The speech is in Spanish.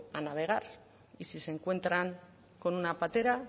a navegar y si se encuentran con una patera